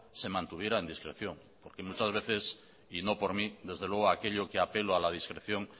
se mantuvieran en discreción muchas veces y no por mí desde luego aquello que apelo a la discreción